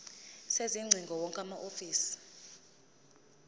sezingcingo wonke amahhovisi